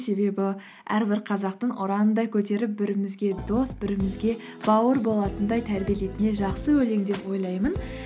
себебі әрбір қазақтың ұранындай көтеріп бірімізге дос бірімізге бауыр болатындай тәрбиелейтін жақсы өлең деп ойлаймын